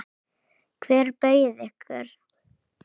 Hver bauð ykkur?